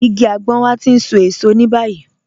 Ìgí àgbọn wà tí ń sọ èṣọ̀ ni báyìí.